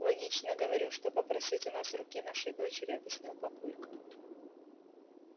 логично говорю что попросить у нас руки нашей дочери объяснил папулька